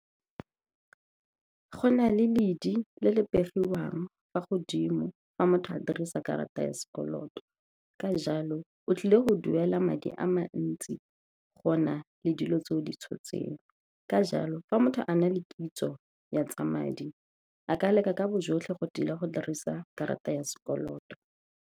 Go na le ledi le le pegiwang fa godimo fa motho a dirisa karata ya sekoloto. Ka jalo, o tlile go duela madi a mantsi go na le dilo tse o di tshotseng. Ka jalo, fa motho a na le kitso ya tsa madi, a ka leka ka bojotlhe go tila go dirisa karata ya sekoloto.